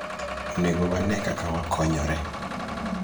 onego wane kaka wakonyore